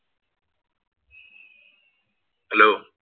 Hello